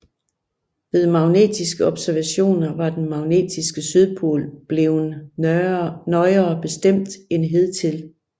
Ved magnetiske observationer var den magnetiske sydpol bleven nøjere bestemt end hidtil